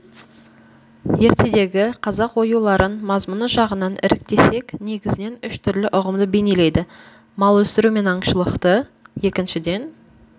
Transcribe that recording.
ертедегі қазақ оюларын мазмұны жағынын іріктесек негізінен үш түрлі ұғымды бейнелейді мал өсіру мен аңшылықты екіншіден